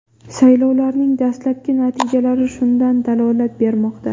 Saylovlarning dastlabki natijalari shundan dalolat bermoqda.